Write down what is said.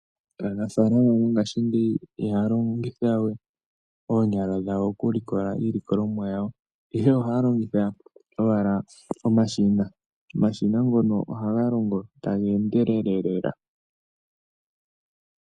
Aanafaalama mongashingeyi ihaya longithawe oonyala dhawo oku likola iilikolomwa yawo, ohaya longitha omashina. Omashina ngono ohaga longo taga endelele lela.